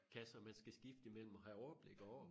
Kasser man skal skifte i mellem og have overblik over